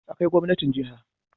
Akwai gwamnatin jiha